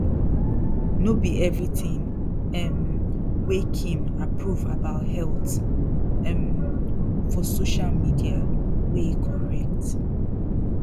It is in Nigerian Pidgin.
no be everything um wey kim approve about health um for social media wey correct